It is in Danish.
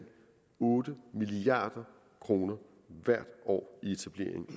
otte milliard kroner hvert år i etablering